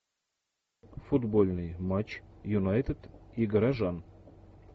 футбольный матч юнайтед и горожан